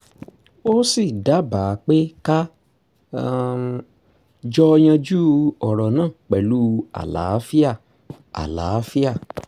ó sì dábàá pé ká um jọ yanjú ọ̀rọ̀ náà pẹ̀lú àlàáfíà àlàáfíà